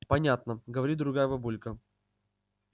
понятно говорит другая бабулька